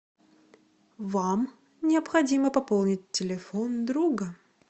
вам необходимо пополнить телефон друга